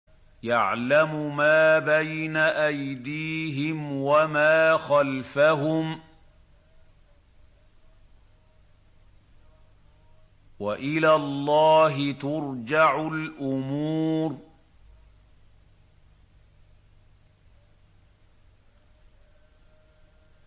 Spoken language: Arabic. يَعْلَمُ مَا بَيْنَ أَيْدِيهِمْ وَمَا خَلْفَهُمْ ۗ وَإِلَى اللَّهِ تُرْجَعُ الْأُمُورُ